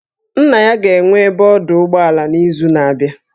Nna ya ga-enwe ebe ọdụ ụgbọala n'izu na-abịa